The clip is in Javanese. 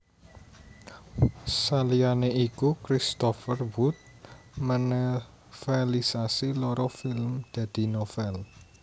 Saliyane iku Christopher Wood menovelisasi loro film dadi novel